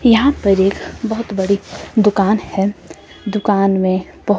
यहां पर एक बहुत बड़ी दुकान है दुकान में बहो--